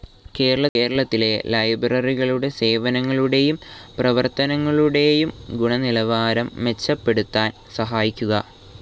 കേരളത്തിലെ ലൈബ്രറികളുടെ സേവനങ്ങളുടേയും പ്രവർത്തനങ്ങളുടേയും ഗുണനിലവാരം മെച്ചപ്പെടുത്താൻ സഹായിക്കുക